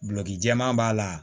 Gulɔki jɛman b'a la